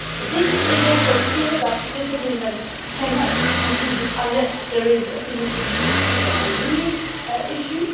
It is also clear that this agreement cannot be concluded unless there is a solution to the steel and aluminium issue.